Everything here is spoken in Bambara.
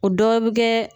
O dɔ bɛ kɛ